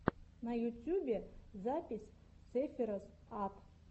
на ютьюбе запись сэфироз ат